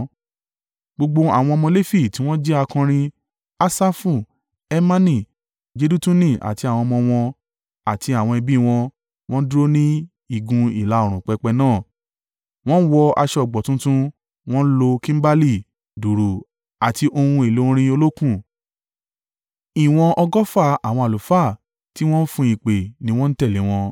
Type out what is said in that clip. Gbogbo àwọn ọmọ Lefi tí wọ́n jẹ́ akọrin: Asafu, Hemani, Jedutuni àti àwọn ọmọ wọn àti àwọn ẹbí wọn, wọ́n dúró ní igun ìlà-oòrùn pẹpẹ náà wọ́n wọ aṣọ ọ̀gbọ̀ tuntun wọ́n ń lo kimbali, dùùrù àti ohun èlò orin olókùn. Ìwọ̀n ọgọ́fà àwọn àlùfáà tí wọ́n ń fun ìpè ni wọ́n tẹ̀lé wọn.